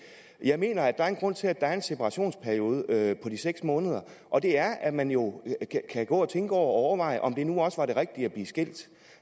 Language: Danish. jeg mener der er en grund til at der er en separationsperiode på de seks måneder og det er at man jo kan gå og tænke over og overveje om det nu også er det rigtige at blive skilt